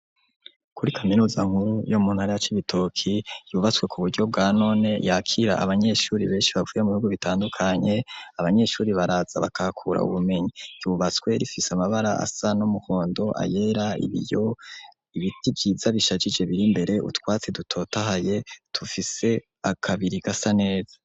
Kuri kaminuza nkuru yo muntara ya Cibitoki yubatswe ku buryo bwa none yakira abanyeshuri benshi bavuye mu bihugu bitandukanye abanyeshuri baraza bakahakura ubumenyi yubaswe rifise amabara asa n'umuhondo ayera ibiyo ibiti vyiza bishajije biri mbere utwatse dutotahaye tufise akabiri gasa neza.